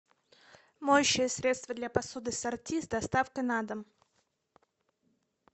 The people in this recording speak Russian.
моющее средство для посуды сорти с доставкой на дом